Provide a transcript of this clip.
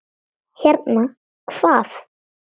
Hérna, hvað?